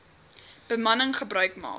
bemanning gebruik maak